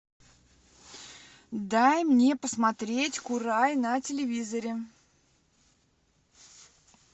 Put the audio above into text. дай мне посмотреть курай на телевизоре